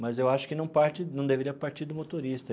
Mas eu acho que não parte não deveria partir do motorista.